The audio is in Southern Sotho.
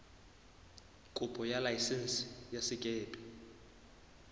kopo ya laesense ya sekepe